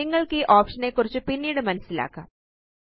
നിങ്ങള്ക്കീ option നെക്കുറിച്ച് പിന്നീട് മനസ്സിലാക്കാം